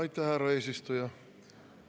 Aitäh, härra eesistuja!